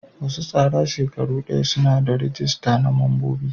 Wasu tsara shekaru daya suna da ragista na mambobi.